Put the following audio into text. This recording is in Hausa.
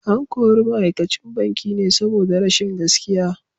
An kori ma’aikacin bankin ne saboda rashin gaskiya.